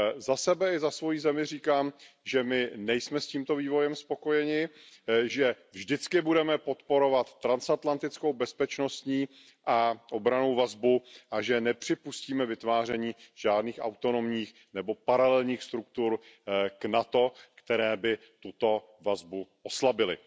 Za sebe i za svoji zemi říkám, že my nejsme s tímto vývojem spokojeni, že vždycky budeme podporovat transatlantickou bezpečnostní a obrannou vazbu a že nepřipustíme vytváření žádných autonomních nebo paralelních struktur k NATO, které by tuto vazbu oslabily.